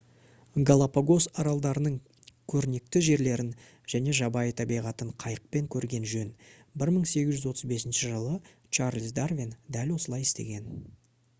галапагос аралдарының көрнекті жерлерін және жабайы табиғатын қайықпен көрген жөн 1835 жылы чарльз дарвин дәл осылай істеген